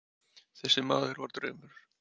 Þessi maður var draumur.